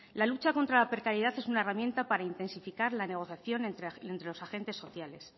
la lucha contra la precariedad es una herramienta para intensificar la negociación entre los agentes sociales